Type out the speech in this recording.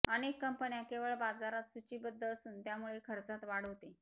अनेक कंपन्या केवळ बाजारात सूचीबद्ध असून त्यामुळे खर्चात वाढ होते